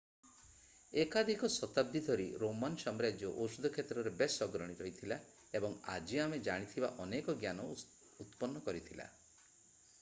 ଏକାଧିକ ଶତାବ୍ଦୀ ଧରି ରୋମାନ୍ ସାମ୍ରାଜ୍ୟ ଔଷଧ କ୍ଷେତ୍ରରେ ବେଶ୍ ଅଗ୍ରଣୀ ରହିଥିଲା ଏବଂ ଆଜି ଆମେ ଜାଣିଥିବା ଅନେକ ଜ୍ଞାନ ଉତ୍ପନ୍ନ କରିଥିଲା